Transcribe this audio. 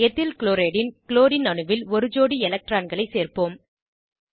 ethyl chloride ன் chlorine அணுவில் ஒரு ஜோடி எலக்ட்ரான்களை சேர்ப்போம்